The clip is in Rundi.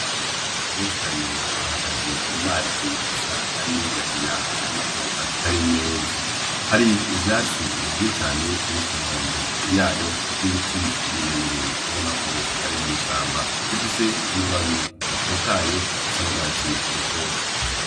Abana benshi cane bahagaze mu mazi asa ni ingina gina ubonako atari meza hari ivyatsi vyinshi cane biri ku nkombe yayo n'ibiti birebire ubonako ari mw'ishamba bifise amababi atotahaye afise nurwatsi rutoto.